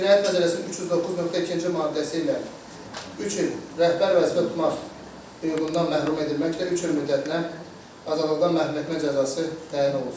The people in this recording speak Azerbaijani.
Cinayət Məcəlləsinin 309.2-ci maddəsi ilə 3 il rəhbər vəzifə tutmaq hüququndan məhrum edilməklə 3 il müddətinə azadlıqdan məhrum etmə cəzası təyin olunsun.